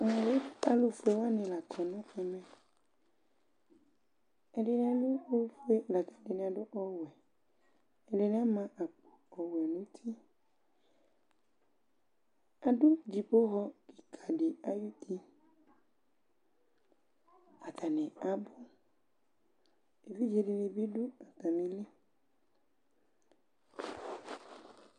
Ɛmɛ bɩ alʋ fue wanɩ la kɔ nɛmɛ Ɛdɩnɩ adʋ ofue ,akɛdɩnɩ adʋ ɔwɛ ,ɛdɩnɩ ama akpo ɔwɛ nutiAdʋ dzipoxɔ kɩka dɩ ayʋti, atanɩ abʋEvidze dɩnɩ bɩ dʋ atamili